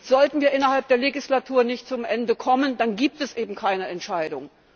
Sollten wir innerhalb der Legislatur nicht zum Ende kommen, dann gibt es eben keine Entscheidung.